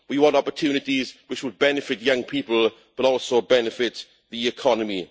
We want opportunities which would benefit young people, but also benefit the economy.